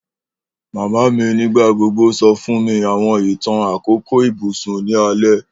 Mama mi nigbagbogbo sọ fun mi awọn itan akoko ibusun ni alẹ.